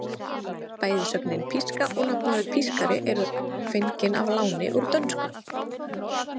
Bæði sögnin píska og nafnorðið pískari eru fengin að láni úr dönsku.